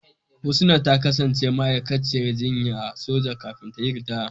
Husna ta kasance ma'aikaciyar jinya a soja kafin ta yi ritaya.